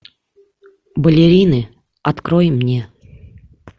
балерины открой мне